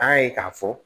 An y'a ye k'a fɔ